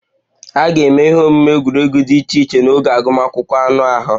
A ga-eme ihe omume egwuregwu dị iche iche n'oge agụmakwụkwọ anụ ahụ